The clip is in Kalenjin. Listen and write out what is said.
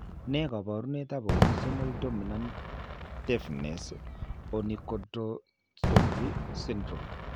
Ne kaabarunetap Autosomal dominant deafness onychodystrophy syndrome?